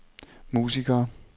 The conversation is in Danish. musikere